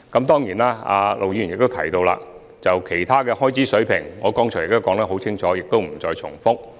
對於陸議員提及的其他開支水平，我剛才已清楚說明，在此不再重複。